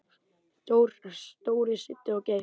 Dóri, Siddi og Geir.